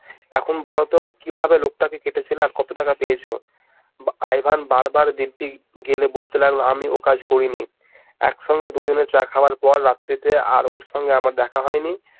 এখন বলো তো কিভাবে লোকটা কে কেটেছিলে আর কত টাকা পেয়েছ? আই ভেন বার বার দিব্যি খেয়ে বলতে লাগলো আমি ও কাজ করিনি এক সঙ্গে দু জনে চা খাওয়ার পর রাত্রিতে আর ওর সঙ্গে আমার দেখা হয় নি